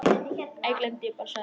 Æ, gleymdu því bara- sagði